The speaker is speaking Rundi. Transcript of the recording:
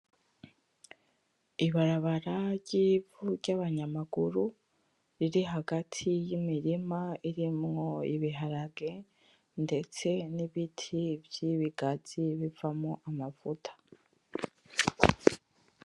Ibarabara ry'ivu ry'abanyamaguru riri hagati y'imirima irimwo ibiharage ndetse nibiti vy'ibigazi bivamwo amavuta.